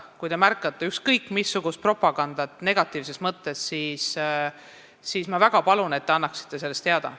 Kui te märkate ükskõik missugust propagandat negatiivses mõttes, siis ma väga palun, et te annaksite sellest teada.